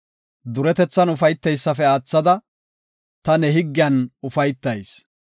Duretethan ufayteysafe aathada, ta ne higgiyan ufaytayis.